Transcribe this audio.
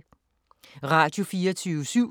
Radio24syv